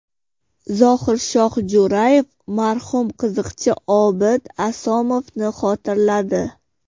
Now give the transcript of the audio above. Zohirshoh Jo‘rayev marhum qiziqchi Obid Asomovni xotirladi.